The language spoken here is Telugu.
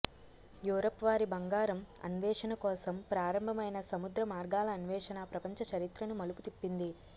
యూరప్ వారి బంగారం అన్వేషణ కోసం ప్రారంభమైన సముద్ర మార్గాల అన్వేషణ ప్రపంచ చరిత్రను మలుపు తిప్పింది